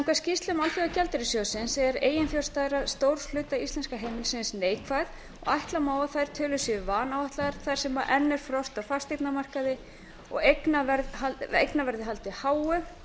samkvæmt skýrslum alþjóðagjaldeyrissjóðsins er eiginfjárstaða stórs hluta íslenskra heimila neikvæð en ætla má að þær tölur séu vanáætlaðar þar sem enn er frost á fasteignamarkaði og eignaverði haldið háu með